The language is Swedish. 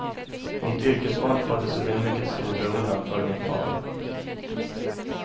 Mitt yrkesval föddes ur en mycket stor beundran för min far.